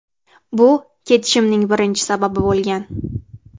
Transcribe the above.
Bu ketishimning birinchi sababi bo‘lgan.